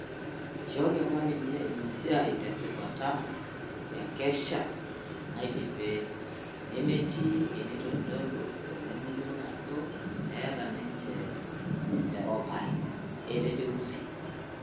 Eshooki apa ninje ina siai tesipata tenkesha naidipe, nemeti eneitodolu tolingo lenye ajo eeta ninje erupare," Etejo Lusi.